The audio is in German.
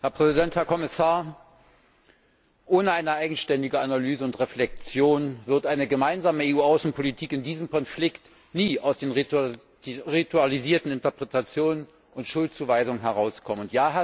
Herr Präsident, Herr Kommissar! Ohne eine eigenständige Analyse und Reflexion wird eine gemeinsame EU Außenpolitik in diesem Konflikt nie aus den ritualisierten Interpretationen und Schuldzuweisungen herauskommen.